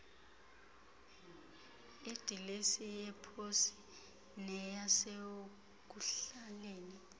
idilesi yeposi neyasekuhlaleni